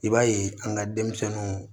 I b'a ye an ka denmisɛnninw